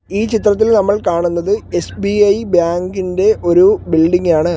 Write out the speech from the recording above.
ഈ ചിത്രത്തിൽ നമ്മൾ കാണുന്നത് എസ്_ബി_ഐ ബാങ്ക് ഇന്റെ ഒരു ബിൽഡിംഗാണ് .